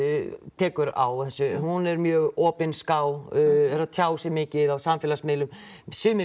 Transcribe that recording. tekur á þessu hún er mjög opinská er að tjá sig mikið á samfélagsmiðlum sumir